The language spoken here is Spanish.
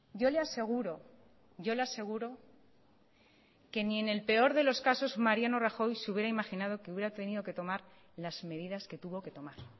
yo le aseguro yo le aseguro que ni en el peor de los casos mariano rajoy se hubiera imaginado que hubiera tenido que tomar las medidas que tuvo que tomar